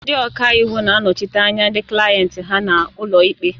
Ndị ọka iwu na-anọchite anya ndị klayenti ha n'ụlọ ikpe.